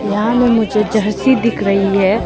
यहां में मुझे जहसी दिख रही है।